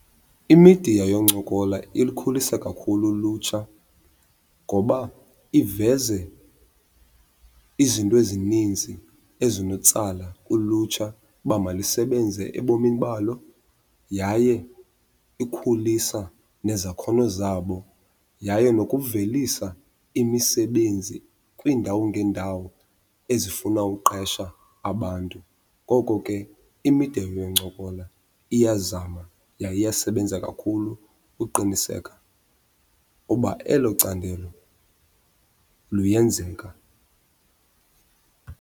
Imidiya yoncokola ilukhulisa kakhulu ulutsha ngoba iveze izinto ezininzi ezinotsala ulutsha uba malisebenze ebomini balo yaye ikhulisa nezakhono zabo, yaye nokuvelisa imisebenzi kwiindawo ngeendawo ezifuna uqesha abantu. Ngoko ke imidiya yoncokola iyazama yaye iyasebenza kakhulu uqiniseka uba elo candelo luyenzeka.